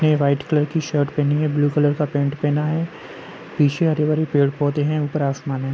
ने white colour की shirt पहनी है। ब्लू कलर का पेंट पहना है। पीछे हरे भरे पेड़ पौधे हैं। ऊपर आसमान है।